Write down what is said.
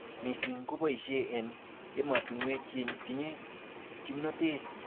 missing keboishe en emotunwek chetinye kimnotet.